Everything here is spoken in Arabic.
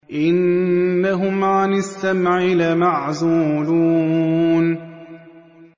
إِنَّهُمْ عَنِ السَّمْعِ لَمَعْزُولُونَ